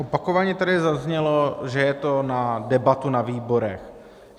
Opakovaně tady zaznělo, že je to na debatu na výborech.